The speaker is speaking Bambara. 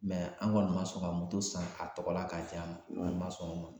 an kɔni ma sɔn ka san a tɔgɔ la k'a ja ma, a ma sɔn o ma.